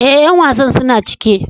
Eh, yan wasan suna cike.